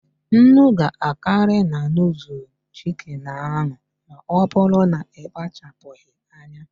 Nnu ga-akarị na nudul chiki ahụ ma ọbụrụ na ịkpachaghị anya.